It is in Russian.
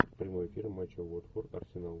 прямой эфир матча уотфорд арсенал